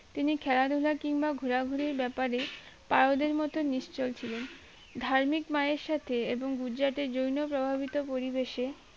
তিনি খেলাধুলা কিংবা ঘুরা ঘুরি ব্যাপারে পারদের মতো নিসচল ছিলেন ধার্মিক মায়ের সাথে এবং গুজরাটের জৈন প্রভাবিত পরিবেশে